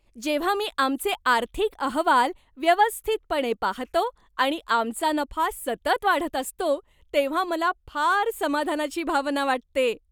जेव्हा मी आमचे आर्थिक अहवाल व्यवस्थितपणे पाहतो आणि आमचा नफा सतत वाढत असतो, तेव्हा मला फार समाधानाची भावना वाटते.